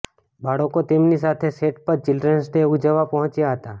બાળકો તેમની સાથે સેટ પર ચિલ્ડ્રેન્સ ડે ઉજવવા પહોંચ્યા હતા